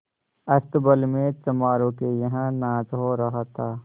अस्तबल में चमारों के यहाँ नाच हो रहा था